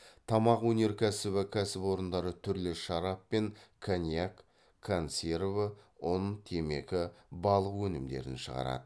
тамақ өнеркәсібі кәсіпорындары түрлі шарап пен коньяк консерві ұн темекі балық өнімдерін шығарады